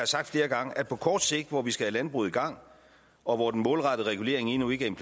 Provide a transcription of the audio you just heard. sagt flere gange at på kort sigt hvor vi skal have landbruget i gang og hvor den målrettede regulering endnu ikke er